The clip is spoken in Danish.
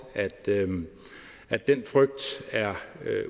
at den frygt er